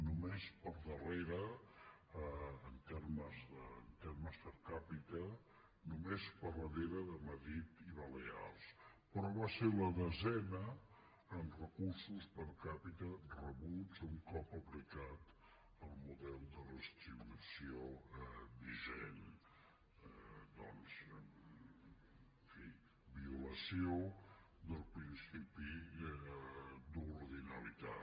només pel darrere en termes per capita de madrid i balears però va ser la desena en recursos per capita rebuts un cop aplicat el model de distribució vigent doncs en fi violació del principi d’ordinalitat